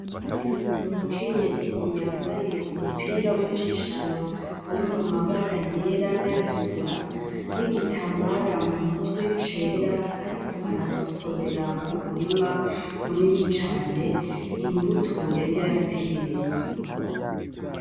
Umukenyezi yambaye umupira w'injishano urimwo amabara: yera n'ayatukura n'igitambara mu mutwe cera ariko aragosorera mu murima munini cane imbuto yari yarateye.